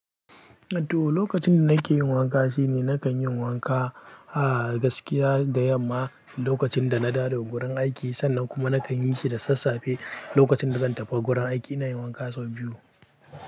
To, lokacin da nake yin wanka shine nakan yin wanka a gaskiya da yamma lokacin da na dawo daga gurin aiki sannan kuma nakan yi shi da sassafe lokacin da zan tafi gurin aiki. Inayin wanka sau biyu.